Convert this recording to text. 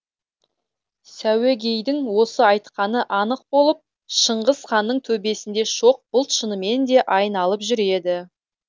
сәуегейдің осы айтқаны анық болып шыңғыс ханның төбесінде шоқ бұлт шынымен де айналып жүреді